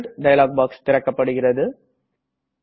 print dialog box திறக்கப்படுகிறது